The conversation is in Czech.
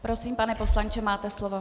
Prosím, pane poslanče, máte slovo.